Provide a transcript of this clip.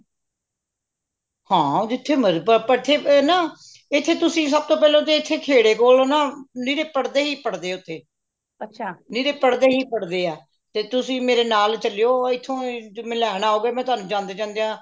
ਹਾਂ ਜਿਥੇ ਏਥੇ ਤੁਸੀਂ ਸਬ ਤੋਂ ਪਹਿਲੇ ਤੁਸੀਂ ਖੇੜੇ ਕੋਲੋਂ ਨਾ ਨਿਰੇ ਪੜ੍ਹਦੇ ਹੀ ਪੜ੍ਹਦੇ ਓਥੇ ਨਿਰੇ ਪੜ੍ਹਦੇ ਹੀ ਪੜ੍ਹਦੇ ਹੈ ਤੇ ਤੁਸੀਂ ਮੇਰੇ ਨਾਲ ਚਲੇਯੋ ਇਥੋਂ ਹੀ ਜਦੋ ਤੁਸੀਂ ਮੈਨੂੰ ਲੈਣ ਆਓਗੇ ਮੈਂ ਤੁਹਾਨੂੰ ਜਾਂਦੇ ਜਾਂਦੇਯਾ